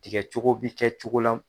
Tigɛ cogo bi kɛ cogo la.